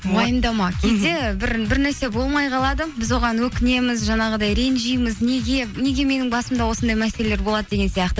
уайымдама кейде бір нәрсе болмай қалады біз оған өкінеміз жаңағыдай ренжиміз неге неге менің басымда осындай мәселелер болады деген сияқты